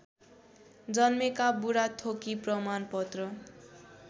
जन्मेका बुढाथोकी प्रमाणपत्र